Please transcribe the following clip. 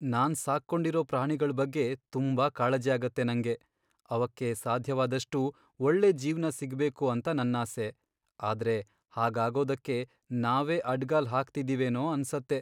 ನಾನ್ ಸಾಕ್ಕೊಂಡಿರೋ ಪ್ರಾಣಿಗಳ್ ಬಗ್ಗೆ ತುಂಬಾ ಕಾಳಜಿ ಆಗತ್ತೆ ನಂಗೆ.. ಅವಕ್ಕೆ ಸಾಧ್ಯವಾದಷ್ಟೂ ಒಳ್ಳೆ ಜೀವ್ನ ಸಿಗ್ಬೇಕು ಅಂತ ನನ್ನಾಸೆ. ಆದ್ರೆ ಹಾಗಾಗೋದಕ್ಕೆ ನಾವೇ ಅಡ್ಡ್ಗಾಲ್ ಹಾಕ್ತಿದಿವೇನೋ ಅನ್ಸತ್ತೆ.